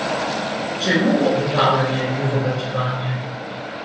Čemu obotavljanje in zavlačevanje?